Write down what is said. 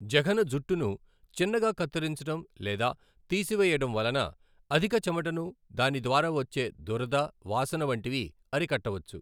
జఘన జుట్టును చిన్నగా కత్తిరించడం లేదా తీసివేయడం వలన అధిక చెమటను దాని ద్వారా వచ్చే దురద వాసన వంటివి అరికట్టవచ్చు.